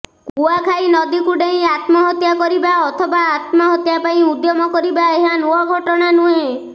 କୁଆଖାଇ ନଦୀକୁ ଡେଇଁ ଆତ୍ମହତ୍ୟା କରିବା ଅଥବା ଆତ୍ମହତ୍ୟା ପାଇଁ ଉଦ୍ୟମ କରିବା ଏହା ନୂଆ ଘଟଣା ନୁହେଁ